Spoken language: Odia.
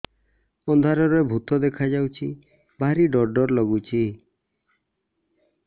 ଅନ୍ଧାରରେ ଭୂତ ଦେଖା ଯାଉଛି ଭାରି ଡର ଡର ଲଗୁଛି